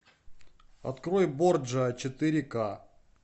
открой борджиа четыре ка